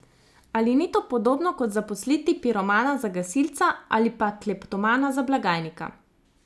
Ali ni to podobno kot zaposliti piromana za gasilca, ali pa kleptomana za blagajnika?